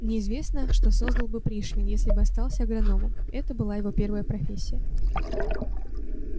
неизвестно что создал бы пришвин если бы остался агрономом это была его первая профессия